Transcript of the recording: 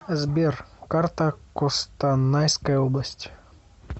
сбер карта костанайская область